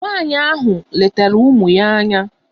Nwaanyị ahụ letara ụmụ ya anya.